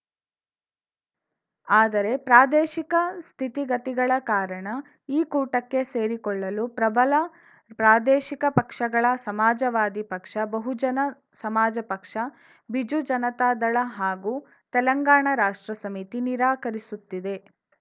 ಆದರೆ ಪ್ರಾದೇಶಿಕ ಸ್ಥಿತಿಗತಿಗಳ ಕಾರಣ ಈ ಕೂಟಕ್ಕೆ ಸೇರಿಕೊಳ್ಳಲು ಪ್ರಬಲ ಪ್ರಾದೇಶಿಕ ಪಕ್ಷಗಳಾ ಸಮಾಜವಾದಿ ಪಕ್ಷ ಬಹುಜನ ಸಮಾಜ ಪಕ್ಷ ಬಿಜು ಜನತಾದಳ ಹಾಗೂ ತೆಲಂಗಾಣ ರಾಷ್ಟ್ರ ಸಮಿತಿ ನಿರಾಕರಿಸುತ್ತಿವೆ